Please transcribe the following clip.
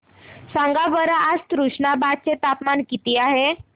सांगा बरं आज तुष्णाबाद चे तापमान किती आहे